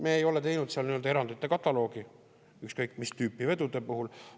Me ei ole teinud seal nii-öelda erandite kataloogi ükskõik mis tüüpi vedude puhul.